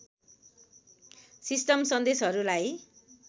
system सन्देशहरूलाई